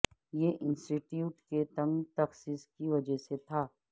یہ institute کے تنگ تخصص کی وجہ سے تھا